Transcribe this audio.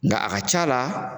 Nka a ka ca la